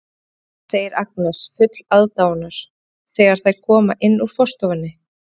Flott hús, segir Agnes full aðdáunar þegar þær koma inn úr forstofunni.